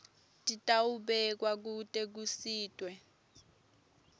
titawubekwa kute kusitwe